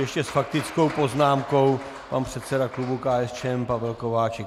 Ještě s faktickou poznámkou pan předseda klubu KSČM Pavel Kovařík.